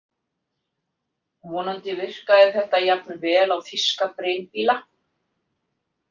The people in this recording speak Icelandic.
Vonandi virkaði þetta jafn vel á þýska brynbíla.